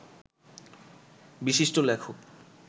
বিশিষ্ট লেখক